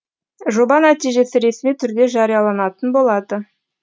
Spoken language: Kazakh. жоба нәтижесі ресми түрде жарияланатын болады